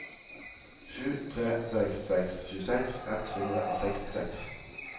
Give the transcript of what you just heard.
sju tre seks seks tjueseks ett hundre og sekstiseks